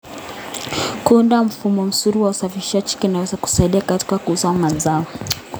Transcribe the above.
Kuunda mfumo mzuri wa usafirishaji kunaweza kusaidia katika kuuza mazao.